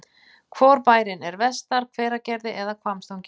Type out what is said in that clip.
Hvor bærinn er vestar, Hveragerði eða Hvammstangi?